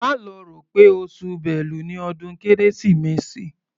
Má lọ rò pé oṣù Bélu ni ọdún Kérésìmesì.